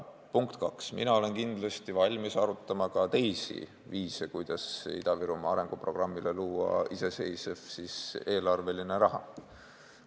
Punkt kaks, mina olen kindlasti valmis arutama ka teisi viise, kuidas Ida-Virumaa arenguprogrammile saada iseseisev eelarveline raha.